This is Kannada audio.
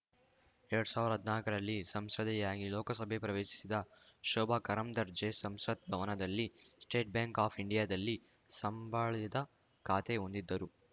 ಎರಡ್ ಸಾವಿರ್ದಾ ಹದ್ನಾಕರಲ್ಲಿ ಸಂಸದೆಯಾಗಿ ಲೋಕಸಭೆ ಪ್ರವೇಶಿಸಿದ್ದ ಶೋಭಾ ಕರಂದರ್ಜೆ ಸಂಸತ್‌ ಭವನದಲ್ಲಿನ ಸ್ಟೇಟ್‌ ಬ್ಯಾಂಕ್‌ ಆಫ್‌ ಇಂಡಿಯಾದಲ್ಲಿ ಸಂಬಳದ ಖಾತೆ ಹೊಂದಿದ್ದರು